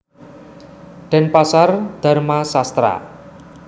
Denpasar Dharma Sastra